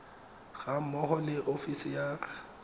ga mmogo le ofisi ya